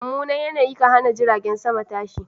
Mummunan yanayi kan hana jiragen sama tashi.